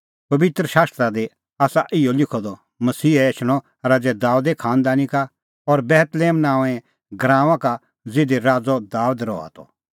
पबित्र शास्त्रा दी आसा इहअ लिखअ द मसीहा एछणअ राज़ै दाबेदे खांनदानी का और बेतलेहम नांओंऐं गराऊंआं का ज़िधी राज़अ दाबेद रहा त